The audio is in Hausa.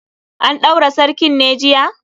An ɗaura sarkin ne jiya?